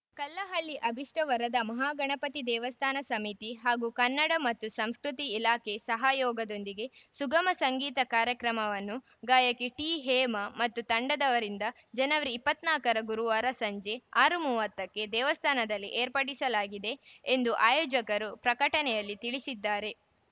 ಕಲ್ಲಹಳ್ಳಿ ಅಭಿಷ್ಟವರದಾ ಮಹಾಗಣಪತಿ ದೇವಸ್ಥಾನ ಸಮಿತಿ ಹಾಗೂ ಕನ್ನಡ ಮತ್ತು ಸಂಸ್ಕೃತಿ ಇಲಾಖೆ ಸಹಯೋಗದೊಂದಿಗೆ ಸುಗಮ ಸಂಗೀತ ಕಾರ್ಯಕ್ರಮವನ್ನು ಗಾಯಕಿ ಟಿ ಹೇಮಾ ಮತ್ತು ತಂಡದವರಿಂದ ಜನವರಿ ಇಪ್ಪತ್ತ್ ನಾಲ್ಕರ ಗುರುವಾರ ಸಂಜೆ ಆರು ಮೂವತ್ತಕ್ಕೆ ದೇವಸ್ಥಾನದಲ್ಲಿ ಏರ್ಪಡಿಸಲಾಗಿದೆ ಎಂದು ಆಯೋಜಕರು ಪ್ರಕಟಣೆಯಲ್ಲಿ ತಿಳಿಸಿದ್ದಾರೆ